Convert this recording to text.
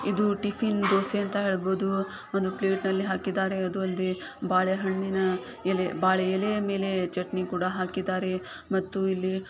ಇದು ಟಿಫಿನ್ ದೋಸೆ ಅಂತ ಹ್ಹೇಳ್ಬಹುದು ಒಂದು ಪ್ಲೇಟ ನಲಿ ಹಾಕಿದ್ದಾರೆ ಅದು ಅಲ್ದೆ ಬಾಳೆ ಹಣ್ಣಿನ ಎಲೆ ಬಾಳೆ ಎಲೆಯ ಮೇಲೆ ಚಟನಿ ಕುಡ ಹಾಕಿದರೆ ಮತ್ತು ಇಲ್ಲಿ --